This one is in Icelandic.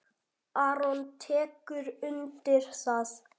Aron tekur undir það.